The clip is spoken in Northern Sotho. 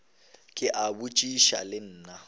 ke a botšiša le nna